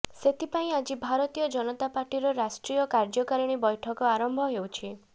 ସେଥିପାଇଁ ଆଜି ଭାରତୀୟ ଜନତା ପାର୍ଟିର ରାଷ୍ଟ୍ରୀୟ କାର୍ୟ୍ୟକାରିଣୀ ବୈଠକ ଆରମ୍ଭ ହେଉଛି